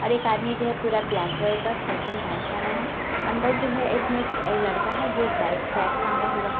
और एक आदमी जो है पूरा ब्लैक कलर का शर्ट एंड पैंट पहना है अंदर जो है इसमें एक लड़का है जो एक बाइक बैग टांगा हुआ है।